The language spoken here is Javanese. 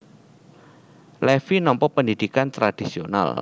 Levi nampa pendhidhikan tradhisional